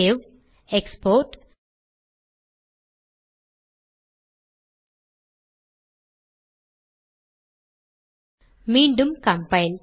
save export மீண்டும் compile